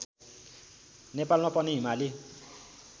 नेपालमा पनि हिमाली